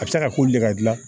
A bɛ se ka ko le ka gilan